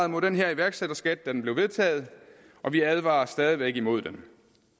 imod den her iværksætterskat da den blev vedtaget og vi advarer stadig væk imod den